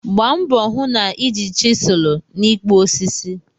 Gbaa mbọ hụ na ị ji chiselu n'ikpụ osisi.